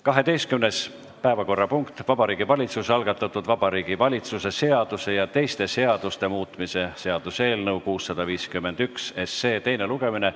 12. päevakorrapunkt on Vabariigi Valitsuse algatatud Vabariigi Valitsuse seaduse ja teiste seaduste muutmise seaduse eelnõu 651 teine lugemine.